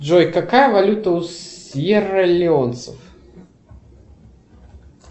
джой какая валюта у сьерралеонцев